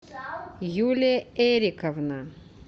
юлия эриковна